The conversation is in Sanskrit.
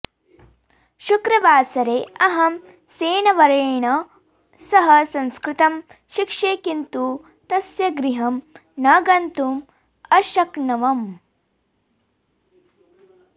शुक्रवासरे अहं सेनवर्येण सह संस्कृतं शिक्षे किन्तु तस्य गृहं न गन्तुम् अशक्नवम्